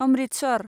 Amritsar